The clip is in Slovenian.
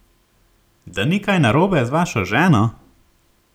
Da ni kaj narobe z vašo ženo?